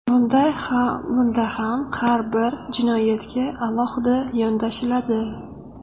Bunda ham har bir jinoyatga alohida yondashiladi.